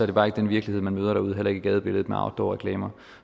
det bare ikke den virkelighed man møder derude heller ikke i gadebilledet med outdoorreklamer